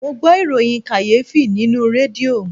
Mo gbọ ìròyìn kàyéfì nínú rédíò